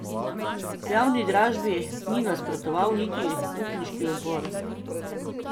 Javni dražbi ni nasprotoval niti upniški odbor.